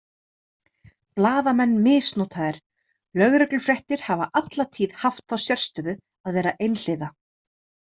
Blaðamenn misnotaðir Lögreglufréttir hafa alla tíð haft þá sérstöðu að vera einhliða.